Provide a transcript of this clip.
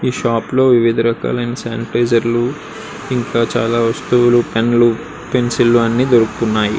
ఈ షాప్ లో వివిధ రకాలైన శానిటైజర్ లు ఇంకా చాలా వస్తువులు పెన్ను లు పెన్సిళ్ లు అన్ని దొరుకుతున్నాయి.